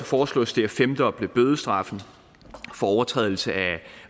foreslås det at femdoble bødestraffen for overtrædelse af